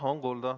Jah, on kuulda.